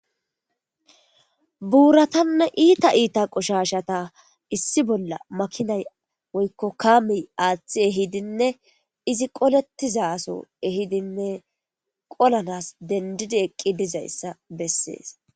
Buuratanne iita iita qushashata issi bolla makinay woykko kaamiy aaththi ehidinne izi qolettizaso ehidinne qolanas dendidi eqqi dizayssa bessees.